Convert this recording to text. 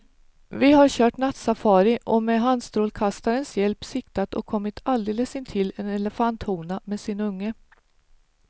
Vi har kört nattsafari och med handstrålkastarens hjälp siktat och kommit alldeles intill en elefanthona med sin unge.